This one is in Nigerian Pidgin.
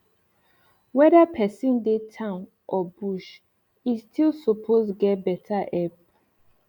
weda persin dey town or bush e still support get beta epp